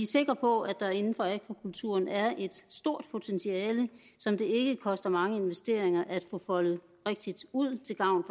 sikre på at der inden for akvakulturen er et stort potentiale som det koster mange investeringer at få foldet rigtigt ud til gavn